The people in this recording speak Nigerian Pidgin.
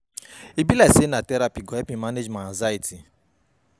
E be like sey na therapy go help me manage my anxiety.